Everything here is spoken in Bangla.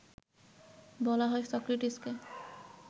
বলা হয় সক্রেটিসকে